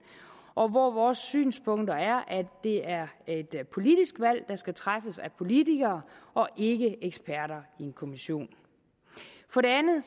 og hvor vores synspunkter er at det er et politisk valg der skal træffes af politikere og ikke eksperter i en kommission for det andet